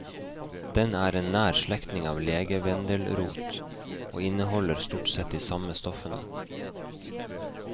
Den er en nær slektning av legevendelrot, og inneholder stort sett de samme stoffene.